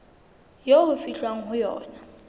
eo ho fihlwang ho yona